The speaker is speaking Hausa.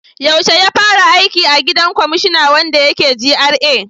Yaushe ya fara aiki a gidan kwamashina wanda yake GRA?